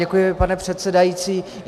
Děkuji, pane předsedající.